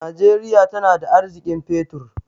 Najeriya tana da arziƙin fetur.